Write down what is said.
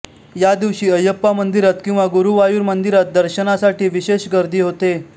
या दिवशी अयप्पा मंदिरात किंवा गुरुवायुर मंदिरात दर्शनासाठी विशेष गर्दी होते